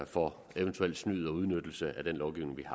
for eventuelt snyd og udnyttelse af den lovgivning vi